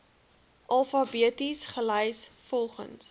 alfabeties gelys volgens